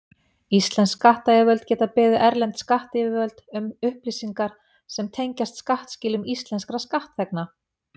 Íslensk skattyfirvöld geta beðið erlend skattyfirvöld um upplýsingar sem tengjast skattskilum íslenskra skattþegna.